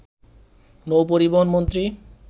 নৌপরিবহন মন্ত্রী